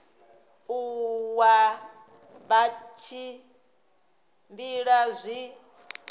u nwa vha tshimbila zwi